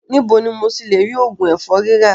Níbo ni mo ti lè rí òògùn ẹ̀fọ́rí rà?